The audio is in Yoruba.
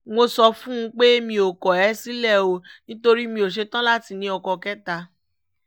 mo sọ fún un pé mi ò ní kọ̀ ẹ́ sílẹ̀ o nítorí mi ò ṣetán láti ní ọkọ kẹta